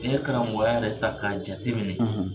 Ni ye karamɔgɔya yɛrɛ ta k'a jateminɛ,